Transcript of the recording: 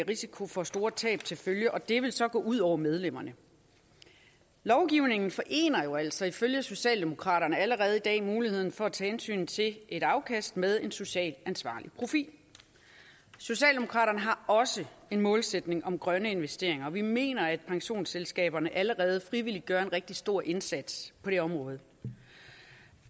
risiko for store tab og det ville så gå ud over medlemmerne lovgivningen forener jo altså ifølge socialdemokraterne allerede i dag muligheden for at tage hensyn til et afkast med en social ansvarlig profil socialdemokraterne har også en målsætning om grønne investeringer og vi mener at pensionsselskaberne allerede frivilligt gør en rigtig stor indsats på det område